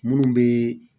Munnu be